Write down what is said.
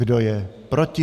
Kdo je proti?